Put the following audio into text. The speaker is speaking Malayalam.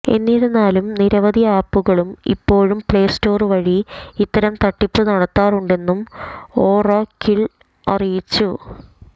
എന്നിരുന്നാലും നിരവധി ആപ്പുകള് ഇപ്പോളും പ്ലേസ്റ്റോര് വഴി ഇത്തരം തട്ടിപ്പ് നടത്തുന്നുണ്ടെന്ന് ഒറാക്കിള് അറിയിച്ചു